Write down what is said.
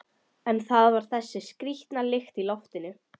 En það var þessi skrýtna lykt í loftinu.